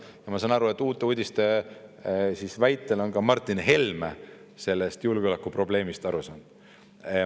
Ja ma saan aru, et Uute Uudiste väitel on ka Martin Helme sellest julgeolekuprobleemist aru saanud.